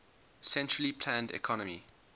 centrally planned economy